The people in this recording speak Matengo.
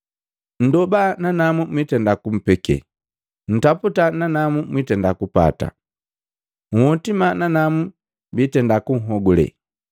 “Nndoba nanamu biitenda kumpeke, ntaputa nanamu mwitenda kupata, nhotima nanamu biitenda kunhogule.